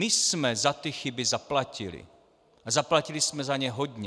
My jsme za ty chyby zaplatili a zaplatili jsme za ně hodně.